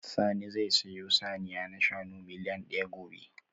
Sani zai sayo saniya na shanu miliyan daya gobe